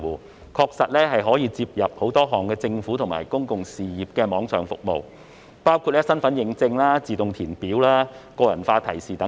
這平台確實可以連接很多項政府及公用事業的網上服務，包括身份認證、自動填表、個人化提示等。